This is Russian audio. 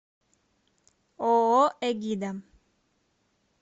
ооо эгида